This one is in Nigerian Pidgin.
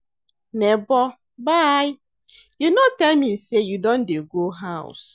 Nebor bye, you no tell me sey you don dey go house.